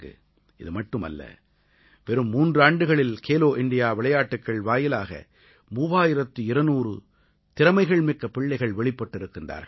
இதுமட்டுமல்ல வெறும் மூன்றாண்டுகளில் கேலோ இண்டியா விளையாட்டுக்கள் வாயிலாக 3200 திறமைகள்மிக்க பிள்ளைகள் வெளிப்பட்டிருக்கிறார்கள்